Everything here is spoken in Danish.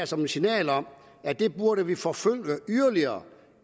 som et signal om at det burde vi forfølge yderligere